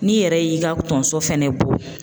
N'i yɛrɛ y'i ka tonso fɛnɛ bɔ